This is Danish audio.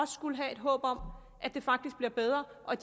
skulle have et håb om at det faktisk bliver bedre og